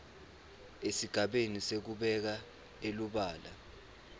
esigabeni sekubeka elubala